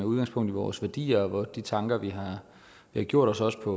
udgangspunkt i vores værdier og de tanker vi har gjort os på